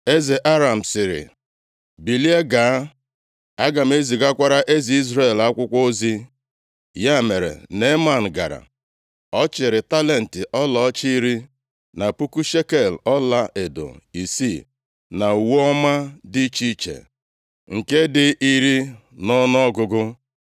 Eze Aram sịrị, “Bilie, gaa, aga m ezigakwara eze Izrel + 5:5 Aha eze a, bụ Joram. \+xt 2Ez 8:28\+xt* akwụkwọ ozi.” Ya mere Neeman gara, ọ chịịrị talenti ọlaọcha iri, na puku shekel ọlaedo isii, na uwe ọma dị iche iche, nke dị iri nʼọnụọgụgụ.